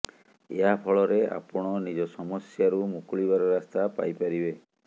ଏହା ଫଳରେ ଆପଣ ନିଜ ସମସ୍ୟାରୁ ମୁକୁଳିବାର ରାସ୍ତା ପାଇପାରିବେ